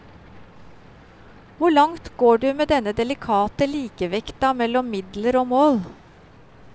Hvor langt går du med denne delikate likevekta mellom midler og mål?